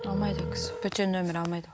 алмайды ол кісі бөтен нөмірді алмайды ол